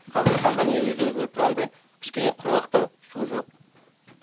қазіргі таңда міне өздеріңіз көріп тұрғандай кішкене құрғақтау су жоқ